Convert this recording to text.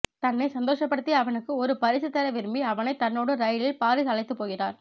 தன்னை சந்தோஷப்படுத்திய அவனுக்கு ஒரு பரிசு தர விரும்பி அவனைத் தன்னோடு ரயிலில் பாரீஸ் அழைத்துப் போகிறார்